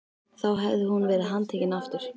Þá hefði hún verið handtekin aftur.